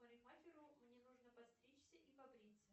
парикмахеру мне нужно подстричься и побриться